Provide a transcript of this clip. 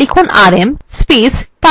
লিখুনrm